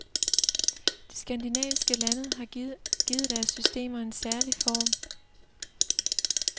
De skandinaviske lande har givet deres systemer en særlig form.